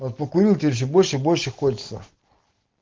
вот покурил теперь ещё больше и больше хочется